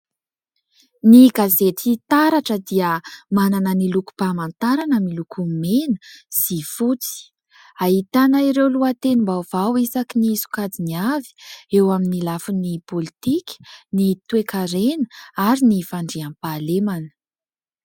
Ny gazety taratra dia manana ny lokom-pamantarana miloko mena sy fotsy. Ahitana ireo lohatenim-baovao isaky ny sokajiny avy : eo amin'ny lafin'ny pôlitika, ny toe-karena ary ny fandriam-pahalemana.